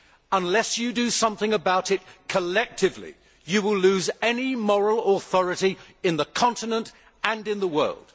Unless you do something about it collectively, you will lose any moral authority in the continent and in the world.